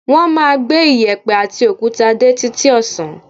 Wọ́n máa gbé iyẹ̀pẹ̀ àti òkúta dé títí ọ̀sán